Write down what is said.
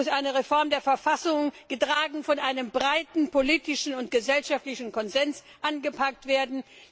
Es muss eine Reform der Verfassung, getragen von einem breiten politischen und gesellschaftlichen Konsens, angepackt werden.